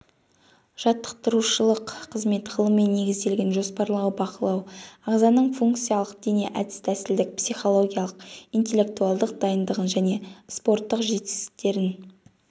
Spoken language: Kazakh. жаттықтырушылық қызмет ғылыми негізделген жоспарлау бақылау ағзаның функциялық дене әдіс-тәсілдік психологиялық интеллектуалдық дайындығын және спорттық жетістіктерін